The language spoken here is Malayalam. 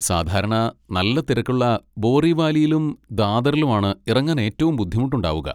സാധാരണ നല്ല തിരക്കുള്ള ബോറിവാലിയിലും ദാദറിലും ആണ് ഇറങ്ങാൻ ഏറ്റവും ബുദ്ധിമുട്ടുണ്ടാവുക.